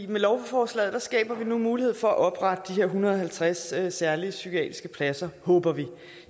med lovforslaget skaber vi nu mulighed for at oprette de her en hundrede og halvtreds særlige psykiatriske pladser håber vi